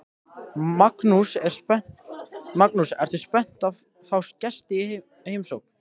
Magnús: Ertu spennt að fá gesti í heimsókn?